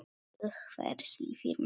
Til hvers lifir maður?